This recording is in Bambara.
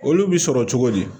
Olu bi sɔrɔ cogo di